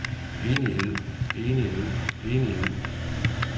enighed enighed enighed